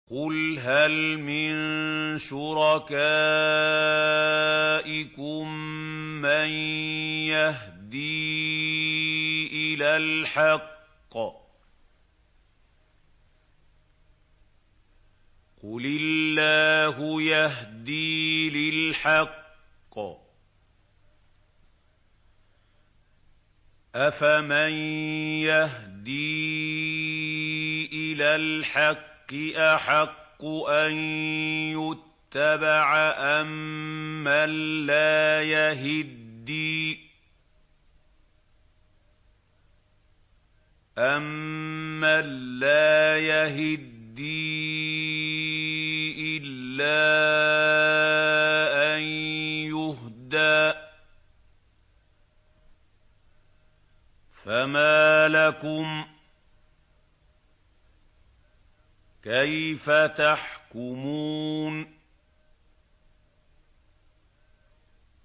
قُلْ هَلْ مِن شُرَكَائِكُم مَّن يَهْدِي إِلَى الْحَقِّ ۚ قُلِ اللَّهُ يَهْدِي لِلْحَقِّ ۗ أَفَمَن يَهْدِي إِلَى الْحَقِّ أَحَقُّ أَن يُتَّبَعَ أَمَّن لَّا يَهِدِّي إِلَّا أَن يُهْدَىٰ ۖ فَمَا لَكُمْ كَيْفَ تَحْكُمُونَ